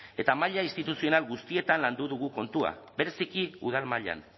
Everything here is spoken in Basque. eta maila instituzional guztietan landu dugu kontua bereziki udal mailan